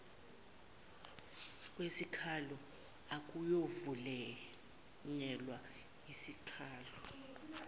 kwesikhalo akuyovunyelwa sikhalo